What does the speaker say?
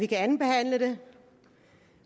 kan andenbehandle det